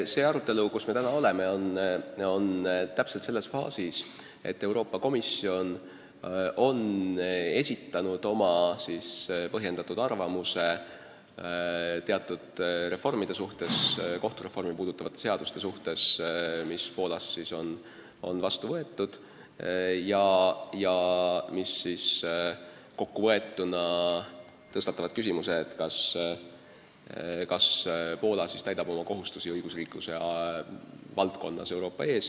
See arutelu on praegu selles faasis, et Euroopa Komisjon on esitanud oma põhjendatud arvamuse teatud reformide kohta ja kohtureformi puudutavate seaduste kohta, mis Poolas on vastu võetud ja mis kokkuvõetuna tõstatavad küsimuse, kas Poola täidab Euroopa ees oma kohustusi õigusriikluse valdkonnas.